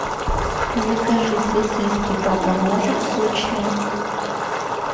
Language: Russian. закажи сосиски папа может сочные